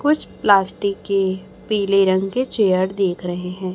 कुछ प्लास्टिक के पीले रंग के चेयर देख रहे हैं।